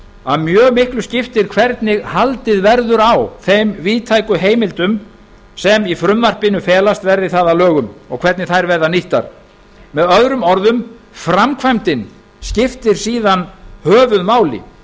að mjög miklu skiptir hvernig haldið verður á þeim víðtæku heimildum sem í frumvarpinu felast verði það að lögum og hvernig þær verða nýttar með öðrum orðum framkvæmdin skiptir síðan höfuðmáli